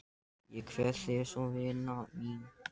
Ég kveð þig svo vina mín.